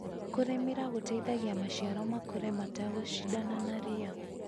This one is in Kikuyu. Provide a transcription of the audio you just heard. Kũrĩmĩra gũteithagia maciaro makũre mategũcindana na ria.